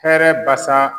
Hɛrɛ basa